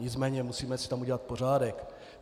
Nicméně musíme si tam udělat pořádek.